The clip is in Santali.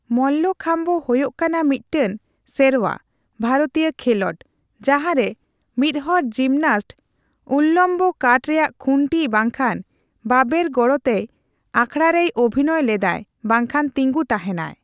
ᱢᱚᱞᱞᱚᱠᱷᱟᱢᱵᱚ ᱦᱳᱭᱳᱜ ᱠᱟᱱᱟ ᱢᱤᱫᱴᱟᱝ ᱥᱮᱨᱣᱟ ᱵᱷᱟᱨᱚᱛᱤᱭᱟᱹ ᱠᱷᱮᱞᱳᱰ, ᱡᱟᱸᱦᱟᱨᱮ ᱢᱤᱫᱦᱚᱲ ᱡᱤᱢᱱᱟᱥᱴᱚ ᱩᱞᱞᱚᱢᱵᱚ ᱠᱟᱴᱷ ᱨᱮᱭᱟᱜ ᱠᱷᱩᱱᱴᱤ ᱵᱟᱝᱠᱷᱟᱱ ᱵᱟᱵᱮᱨ ᱜᱚᱲᱚᱛᱮ ᱟᱠᱷᱲᱟᱨᱮᱭ ᱚᱵᱷᱤᱱᱚᱭ ᱞᱮᱫᱟᱭ ᱵᱟᱝᱠᱷᱟᱱ ᱛᱤᱸᱜᱩ ᱛᱟᱦᱮᱸᱱᱟᱭ ᱾